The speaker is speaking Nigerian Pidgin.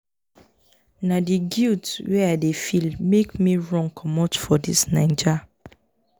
na di guilt wey i dey feel make me run comot for dis naija.